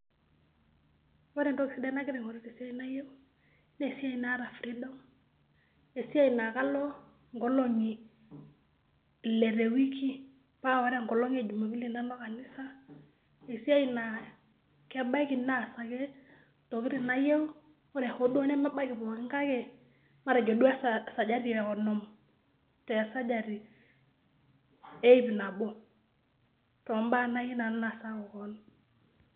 Kore entoki sidai nagira aing'oru te siai nayeu naa esiai naata freedom, esiai naake alo nkolong'i ile te wiki paa kore enkolong' e jumapili nalo kanisa. Esiai naa kebaiki naasaki ntokitin nayeu ore hoo duo nemebaiki pookin kake matejo duo e sajati e omon te sajati eip nabo to mbaa nayeu nanu naasaki koon.